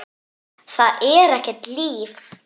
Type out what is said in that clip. Það er ekkert líf.